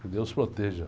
Que Deus proteja.